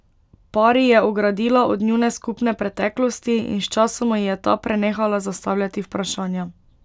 Pari je ogradila od njune skupne preteklosti, in sčasoma ji je ta prenehala zastavljati vprašanja.